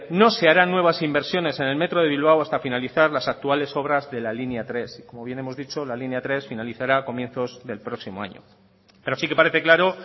no se harán nuevas inversiones en el metro de bilbao hasta finalizar las actuales obras de la línea tres como bien hemos dicho la línea tres finalizará a comienzos del próximo año pero sí que parece claro